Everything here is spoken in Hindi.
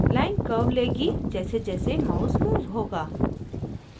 line curve लेगी जैसेजैसे mouse moves moves